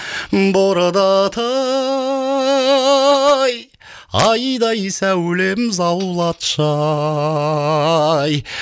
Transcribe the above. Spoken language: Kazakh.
бордатай айдай сәулем заулатшы ай